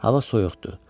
Hava soyuqdu.